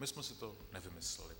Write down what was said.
My jsme si to nevymysleli.